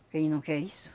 Ele não quer isso.